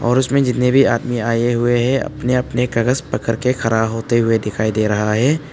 और उसमें जितने भी आदमी आए हुए हैं अपने अपने कागज पकड़ के खड़ा होते हुए दिखाई दे रहा है।